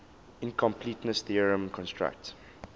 incompleteness theorem constructs